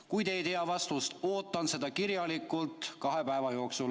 Kui te praegu ei tea vastust, siis ootan seda kirjalikult kahe päeva jooksul.